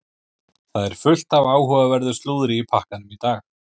Það er fullt af áhugaverðu slúðri í pakkanum í dag.